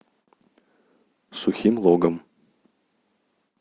сухим логом